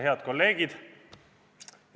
Head kolleegid!